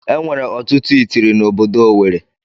Enwere ọtụtụ itiri na ọbọdọ Owerri.